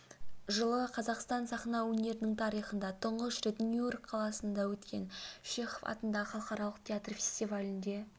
жылы қазақстан сахна өнерінің тарихында тұңғыш рет нью-йорк қаласында өткен чехов атындағы халықаралық театр фестивалінде